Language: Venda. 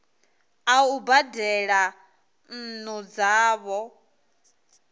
a u badela nnu dzavho